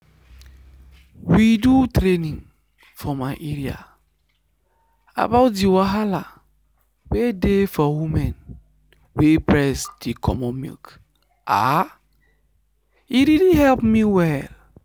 we do training for my area about the wahala wey dey for women wey breast dey comot milk ah e really help me well.